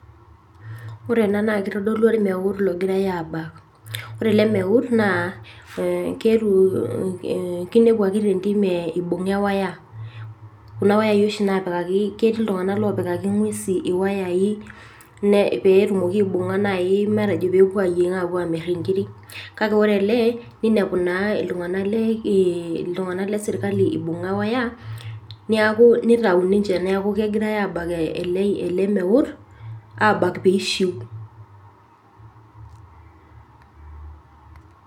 ore ena naa kitodolu ormeut ogirae aabak naa idol ajo iltunganak lesirkali oobakita amu kajo kewoya nabunga tentim amuu ketii iltunganak oshii opikaki ngwesin iwoyayei neeku kebakitae ele piishiu